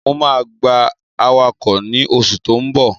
Mo máa gba awakọ̀ ní o ṣù tó n bọ̀.